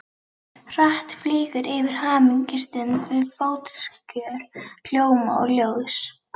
Hratt flýgur yfir hamingjustund við fótskör hljóma og ljóðs.